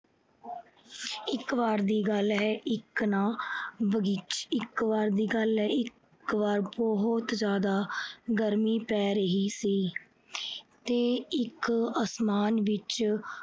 ਇੱਕ ਵਾਰ ਦੀ ਗੱਲ ਹੈ, ਇੱਕ ਨਾ ਬਗੀਚੇ ਅਹ ਇੱਕ ਵਾਰ ਦੀ ਗੱਲ ਹੈ, ਇੱਕ ਵਾਰ ਆਹ ਬਹੁਤ ਜਿਆਦਾ ਗਰਮੀ ਪੈ ਰਹੀ ਸੀ ਤੇ ਇੱਕ ਅਸਮਾਨ ਵਿੱਚ